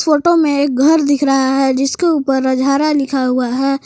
Photo में एक घर दिख रहा है जिसके ऊपर रजहरा लिखा हुआ है।